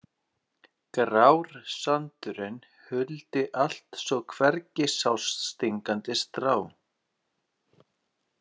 Grár sandurinn huldi allt svo hvergi sást stingandi strá.